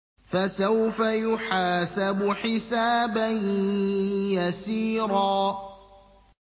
فَسَوْفَ يُحَاسَبُ حِسَابًا يَسِيرًا